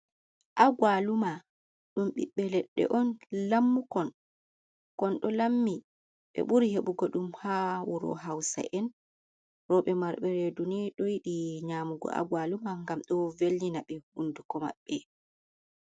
Agwaluma. Ɗum ɓiɓɓe leɗɗe on lammukon, kon ɗo lammi ɓe ɓuri heɓugo ɗum haa wuro hausa'en. Rooɓe marɓe reedu ni ɗo yiɗi nyaamugo agwaluma, ngam ɗo velnina ɓe hunduko maɓɓe.